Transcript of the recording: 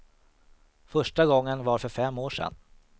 Första gången var för fem år sedan.